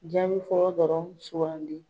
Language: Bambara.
Jaabi fɔlɔ dɔrɔnw sugandi.